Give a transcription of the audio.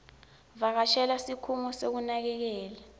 vakashela sikhungo sekunakekela